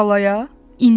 Tallaya, indi?